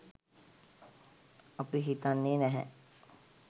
අපි හිතන්නේ නැහැ